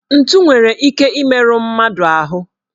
Ntụ nwere ike imeru mmadụ ahụ